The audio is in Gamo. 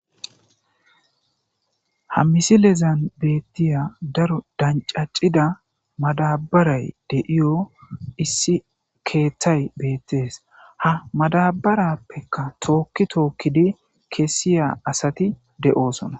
ha misilezan beettiya daro dancacida madabaray de7iyo issi keeththay beettees ha madabarappekka tookki tookkidi kessiya asati de7oosona